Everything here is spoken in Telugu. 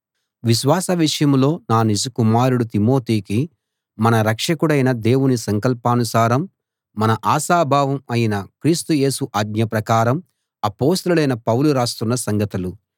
విశ్వాస విషయంలో నా నిజ కుమారుడు తిమోతికి మన రక్షకుడైన దేవుని సంకల్పానుసారం మన ఆశాభావం అయిన క్రీస్తు యేసు ఆజ్ఞ ప్రకారం అపొస్తలుడైన పౌలు రాస్తున్న సంగతులు